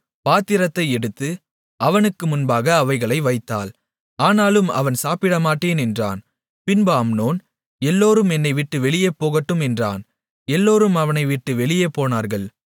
பாத்திரத்தை எடுத்து அவனுக்கு முன்பாக அவைகளை வைத்தாள் ஆனாலும் அவன் சாப்பிடமாட்டேன் என்றான் பின்பு அம்னோன் எல்லோரும் என்னைவிட்டு வெளியே போகட்டும் என்றான் எல்லோரும் அவனைவிட்டு வெளியே போனார்கள்